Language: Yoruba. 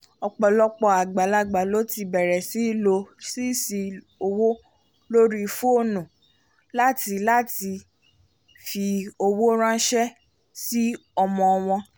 ọ̀pọ̀lọpọ̀ àgbàlagbà ló ti bẹ̀rẹ̀ sí í lò sẹ́ẹ̀sì owó lórí fónù láti láti fi owó ranṣẹ́ sí ọmọ wọn